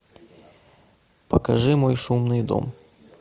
покажи мой шумный дом